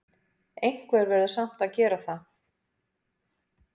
Einhver verður samt að gera það!